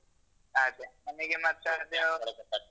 ಅದೇ ನಮಿಗೆ ಮತ್ತದು